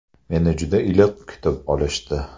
Meni juda iliq kutib olishdi.